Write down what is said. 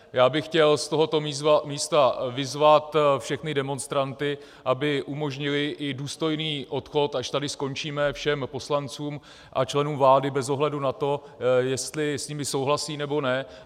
Já bych chtěl z tohoto místa vyzvat všechny demonstranty, aby umožnili i důstojný odchod, až tady skončíme, všem poslancům a členům vlády bez ohledu na to, jestli s nimi souhlasí, nebo ne.